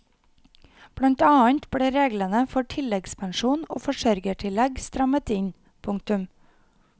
Blant annet ble reglene for tilleggspensjon og forsørgertillegg strammet inn. punktum